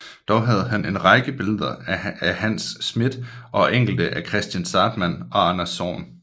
Dog havde han en række billeder af Hans Smidth og enkelte af Kristian Zahrtmann og af Anders Zorn